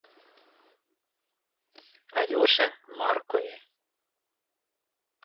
алеше маркове